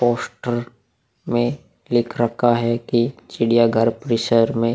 poster में लिख रखा है की चिड़िया घर परिसर में --